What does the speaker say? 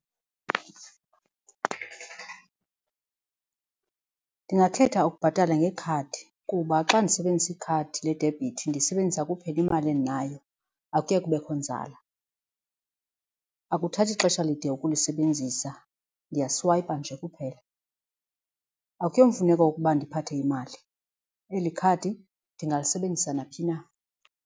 Ndingakhetha ukubhatala ngekhadi kuba xa ndisebenzisa ikhadi ledebhithi ndilisebenzisa kuphela imali endinayo akuye kubekho nzala. Akuthathi xesha lide ukulisebenzisa ndiyaswayipha nje kuphela. Akuyomfuneko ukuba ndiphathe imali eli khadi ndingalisebenzisa naphi na.